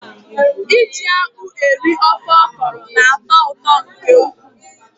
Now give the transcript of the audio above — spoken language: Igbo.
Iji akpụ eri ofe ọkọrọ na-atọ ụtọ nke ukwuu.